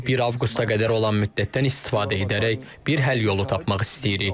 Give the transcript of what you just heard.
Biz 1 avqusta qədər olan müddətdən istifadə edərək bir həll yolu tapmaq istəyirik.